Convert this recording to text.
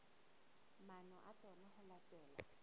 maano a tsona ho latela